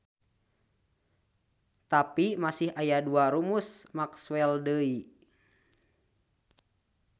Tapi masih aya dua rumus Maxwell deui.